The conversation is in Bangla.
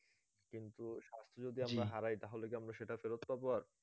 কিন্তু স্বাস্থ যদি আমরা হারাই তাহলে কি আমরা সেটা ফেরত পাবো আর?